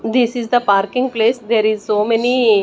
This is the parking place there is so many--